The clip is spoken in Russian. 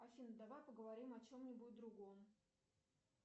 афина давай поговорим о чем нибудь другом